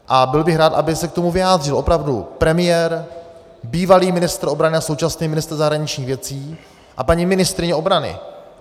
A byl bych rád, aby se k tomu vyjádřil opravdu premiér, bývalý ministr obrany a současný ministr zahraničních věcí a paní ministryně obrany.